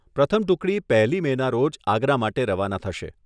પ્રથમ ટુકડી પહેલી મેના રોજ આગ્રા માટે રવાના થશે.